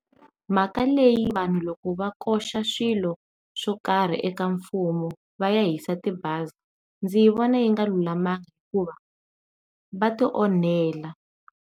Mhaka leyi vanhu loko va koxa swilo swo karhi eka mfumo va ya hisa tibazi, ndzi vona yi nga lulamanga hikuva va ti onhela.